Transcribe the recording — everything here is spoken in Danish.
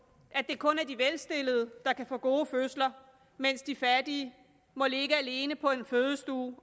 at det kun er de velstillede der kan få gode fødsler mens de fattige må ligge alene på en fødestue og